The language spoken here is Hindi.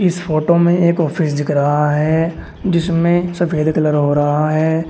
इस फोटो में एक ऑफिस दिख रहा है जिसमें सफेद कलर हो रहा है।